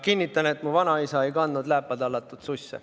Kinnitan, et mu vanaisa ei kandnud lääpa tallatud susse.